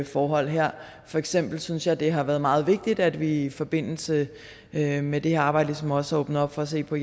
forhold her for eksempel synes jeg det har været meget vigtigt at vi i forbindelse med med det her arbejde ligesom også åbner op for at se på